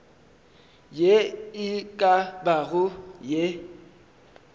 ye e ka bago ye